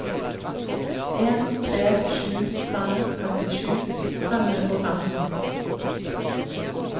en tre sju fem femtisju fem hundre og femten